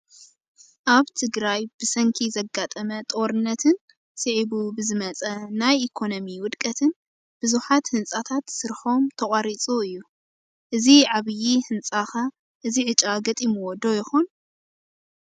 ኣብ ትግራይ ብሰንኪ ዘጋጠመ ጦርነትን ስዒቡ ብዝመፀ ናይ ኢኮነሚ ውድቀትን ብዙሓት ህንፃታት ስርሖም ተቋሪፁ እዩ፡፡ እዚ ዓብዪ ህንፃ ኸ እዚ ዕጫ ገጢምዎ ዶ ይኾን?